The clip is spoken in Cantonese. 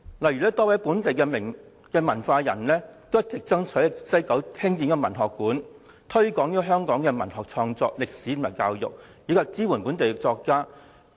例如，多位本地文化人一直爭取在西九文化區興建文學館，以推廣香港文學創作、歷史和教育，以及支援本地作家。